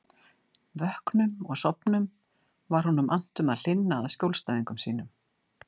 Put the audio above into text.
Vöknum og sofnum var honum annt um að hlynna að skjólstæðingum sínum.